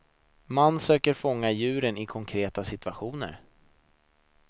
Man söker fånga djuren i konkreta situationer.